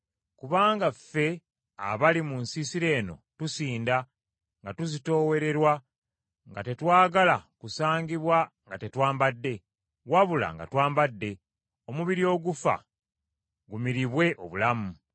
Kubanga ffe abali mu nsiisira eno tusinda, nga tuzitoowererwa, nga tetwagala kusangibwa nga tetwambadde, wabula nga twambadde, omubiri ogufa gumiribwe obulamu.